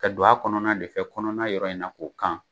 Kɛ don a kɔnɔna de fɛ kɔnɔna yɔrɔ in na k'o kan